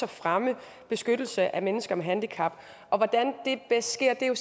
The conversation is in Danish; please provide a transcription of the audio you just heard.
og fremme beskyttelse af mennesker med handicap og hvordan det bedst sker er jo